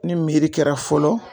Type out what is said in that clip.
Ni kɛra fɔlɔ